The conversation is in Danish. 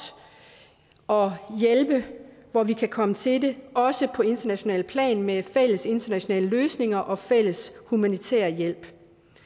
og hjælpe hvor vi kan komme til det også på internationalt plan med fælles internationale løsninger og fælles humanitær hjælp